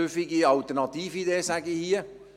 Ich würde es eine süffige Alternatividee nennen.